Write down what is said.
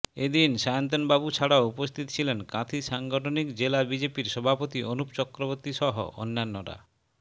এদিন সায়ন্তনবাবু ছাড়াও উপস্থিত ছিলেন কাঁথি সাংগঠনিক জেলা বিজেপির সভাপতি অনুপ চক্রবর্তী সহ অন্যান্যরা